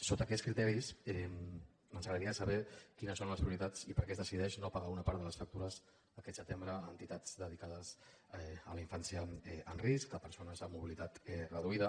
sota aquests criteris ens agradaria saber quines són les prioritats i per què es decideix no pagar una part de les factures aquest setembre a entitats dedicades a la infància amb risc a persones amb mobilitat reduïda